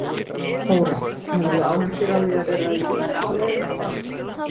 Þóra: Hefurðu áhyggjur af því að vera í rútu á leiðinni til baka?